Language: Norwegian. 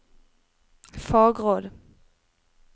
fagråd